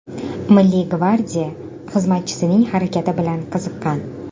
Milliy gvardiya xizmatchisining harakati bilan qiziqqan.